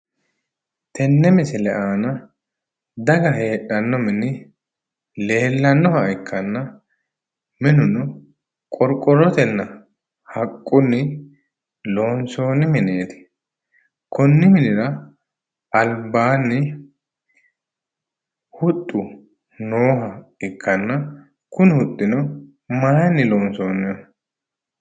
Tenne misile aana daga heedhanno mini leellannoha ikkanna minuno qorqorrotenninna haqqunni loonsoonnni mineeti. Konni minira albaanni huxxu nooha ikkanna kuni huxxino maayiinni loonsoonniho?